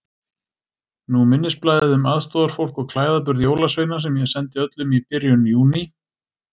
Nú minnisblaðið um aðstoðarfólk og klæðaburð jólasveina sem ég sendi öllum í byrjun Júní.